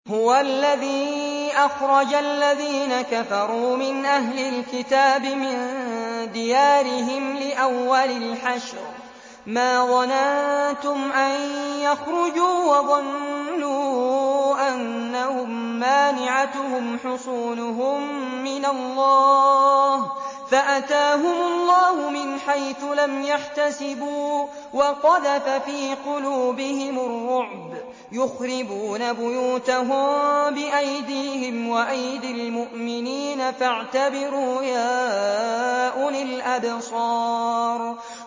هُوَ الَّذِي أَخْرَجَ الَّذِينَ كَفَرُوا مِنْ أَهْلِ الْكِتَابِ مِن دِيَارِهِمْ لِأَوَّلِ الْحَشْرِ ۚ مَا ظَنَنتُمْ أَن يَخْرُجُوا ۖ وَظَنُّوا أَنَّهُم مَّانِعَتُهُمْ حُصُونُهُم مِّنَ اللَّهِ فَأَتَاهُمُ اللَّهُ مِنْ حَيْثُ لَمْ يَحْتَسِبُوا ۖ وَقَذَفَ فِي قُلُوبِهِمُ الرُّعْبَ ۚ يُخْرِبُونَ بُيُوتَهُم بِأَيْدِيهِمْ وَأَيْدِي الْمُؤْمِنِينَ فَاعْتَبِرُوا يَا أُولِي الْأَبْصَارِ